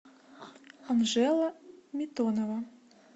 анжела митонова